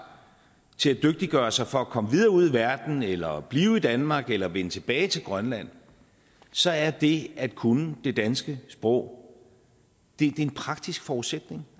til at dygtiggøre sig for at komme videre ud i verden eller blive i danmark eller vende tilbage til grønland så er det at kunne det danske sprog en praktisk forudsætning